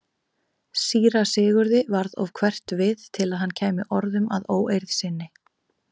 Síra Sigurði varð of hverft við til að hann kæmi orðum að óeirð sinni.